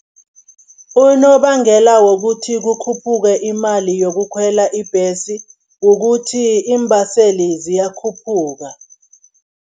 Unobangela wokuthi kukhuphuke imali yokukhwela ibhesi, kukuthi iimbaseli ziyakhuphuka.